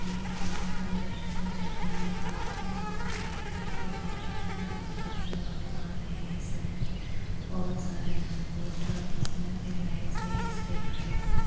ये शाम का दृश्य है जहाँ एक आदमी मोटरसाइकिल लेके जा रहा है और उधर से ऑटो आ रही है साइड में लैम्पपोस्ट है और उसमे भी लाइट्स है ये स्ट्रीटलाइट्स है।